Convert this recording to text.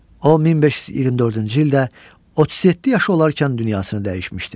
O 1524-cü ildə 37 yaşı olarkən dünyasını dəyişmişdir.